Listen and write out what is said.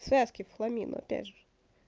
связки в хламину опять же